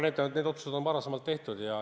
Need otsused on varem tehtud.